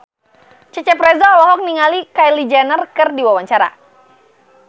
Cecep Reza olohok ningali Kylie Jenner keur diwawancara